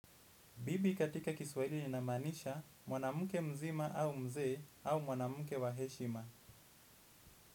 Bibi katika kiswahili linamanisha mwanamke mzima au mzee au mwanamke wa heshima.